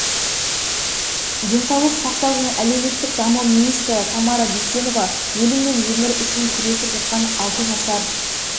денсаулық сақтау және әлеуметтік даму министрі тамара дүйсенова өлім мен өмір үшін күресіп жатқан алты жасар